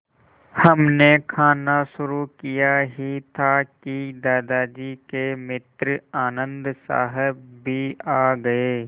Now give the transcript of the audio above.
हमने खाना शुरू किया ही था कि दादाजी के मित्र आनन्द साहब भी आ गए